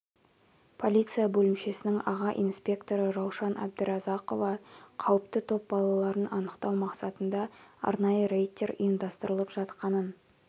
полиция бөлімшесінің аға инспекторы раушан әбдіразақова қауіпті топ балаларын анықтау мақсатында арнайы рейдтер ұйымдастырылып жатқанын